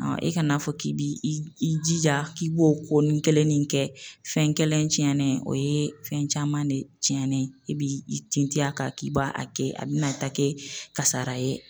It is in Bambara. e kana'a fɔ k'i b'i i jija k'i b'o ko ni kelennin kɛ fɛn kɛlen tiɲɛnen ye fɛn caman de tiɲɛnen ye e b'i tinti a kan k'i b'a kɛ a bɛ na taa kɛ kasara ye.